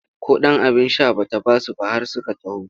Ko ɗan abin sha ba ta ba su ba har suka taho.